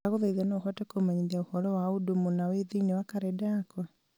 ndagũthaitha no ũhote kũmenyithia ũhoro wa ũndũ mũna wĩ thĩiniĩ wa karenda yakwa